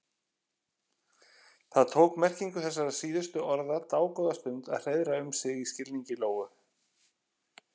Það tók merkingu þessara síðustu orða dágóða stund að hreiðra um sig í skilningi Lóu.